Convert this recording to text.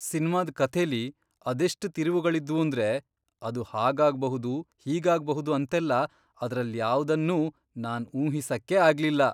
ಸಿನ್ಮಾದ್ ಕಥೆಲಿ ಅದೆಷ್ಟ್ ತಿರುವುಗಳಿದ್ವೂಂದ್ರೆ ಅದು ಹಾಗಾಗ್ಬಹುದು, ಹೀಗಾಗ್ಬಹುದು ಅಂತೆಲ್ಲ ಅದ್ರಲ್ಯಾವ್ದನ್ನೂ ನಾನ್ ಊಹಿಸಕ್ಕೇ ಆಗ್ಲಿಲ್ಲ.